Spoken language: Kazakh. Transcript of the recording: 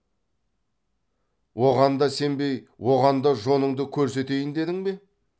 оған да сенбей оған да жоныңды көрсетейін дедің бе